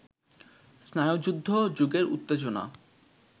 স্নায়ুযুদ্ধ-যুগের উত্তেজনা